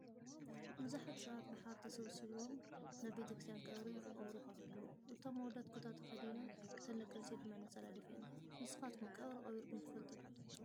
ብዙሓት ሰባት ብሓባር ተሰብሲቦም ናብ ቤተክርስትያ ቀብሪ ከቀብሩ ይከዱ ኣለዉ ። እቶም ኣወዳት ኩታ ተከዲኖም እተን ደቂ ኣንስትዮ ድማ ነፃላ ደፊኣን ። ንስካትኩም ቀብሪ ቀቢርኩም ትፈልጡ ዶ ?